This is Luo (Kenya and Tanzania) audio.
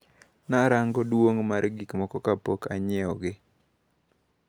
Narango duong` mar gikmoko kapok anyiewogi.